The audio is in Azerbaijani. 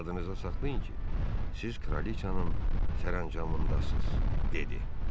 Yadınızda saxlayın ki, siz kraliçanın sərəncamındasız, dedi.